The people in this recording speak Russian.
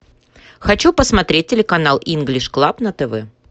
хочу посмотреть телеканал инглиш клаб на тв